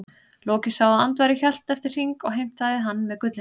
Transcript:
Loki sá að Andvari hélt eftir hring og heimtaði hann með gullinu.